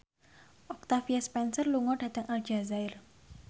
Octavia Spencer lunga dhateng Aljazair